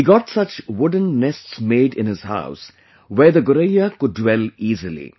He got such wooden nests made in his house where theGoraiya could dwell easily